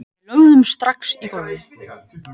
Við lögðumst strax í gólfið